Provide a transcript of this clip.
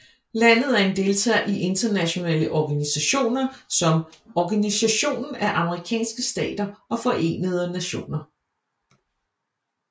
Landet er en deltager i internationale organisationer som Organisationen af Amerikanske Stater og Forenede Nationer